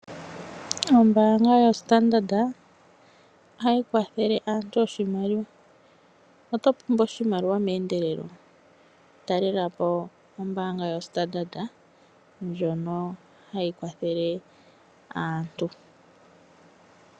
Ombaanga yoStandard ohayi kwathele aantu oshimaliwa. Oto pumbwa oshimaliwa meendelelo? Talela po ombaanga yoStandard ndjono hayi kwathele aantu.